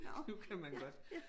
Nu kan man godt